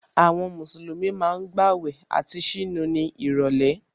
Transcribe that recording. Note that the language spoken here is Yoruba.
Àwọn Mùsùlùmí ma ń gbàwẹ̀ àti ṣínu ní ìrọ̀lẹ́